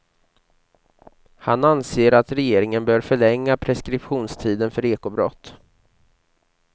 Han anser att regeringen bör förlänga preskriptionstiden för ekobrott.